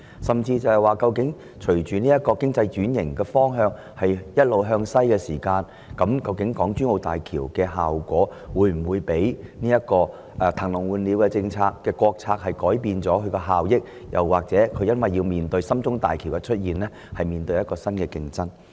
甚至是，隨着經濟轉型"一路向西"時，港珠澳大橋的經濟效益會否因"騰籠換鳥"的國策而有所改變，或因為深中通道的建設而面對新競爭呢？